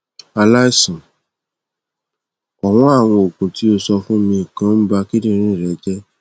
àlaìsàn ọwọn àwọn oògùn tí o sọ fún mi kan ń ba kindinrin rẹ jẹ